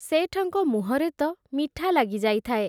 ଶେଠଙ୍କ ମୁହଁରେ ତ ମିଠା ଲାଗି ଯାଇଥାଏ ।